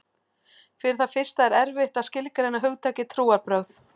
Fyrir það fyrsta er erfitt að skilgreina hugtakið trúarbrögð.